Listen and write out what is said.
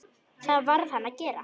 Það varð hann að gera.